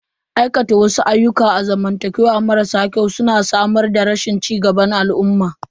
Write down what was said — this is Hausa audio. Aikata wasu ayyukan zamantakewa marasa kyau su na samar da rashin cigaba a al'umma.